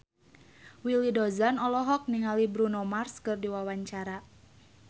Willy Dozan olohok ningali Bruno Mars keur diwawancara